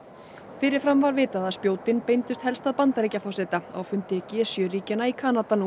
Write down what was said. fyrir fram var vitað að spjótin beindust helst að Bandaríkjaforseta á fundi g sjö ríkjanna í Kanada nú